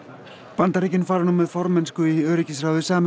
Bandaríkin fara nú með formennsku í öryggisráði Sameinuðu